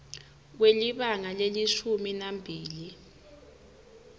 kwelibanga lelishumi nambili